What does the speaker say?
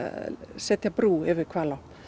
setja brú yfir Hvalá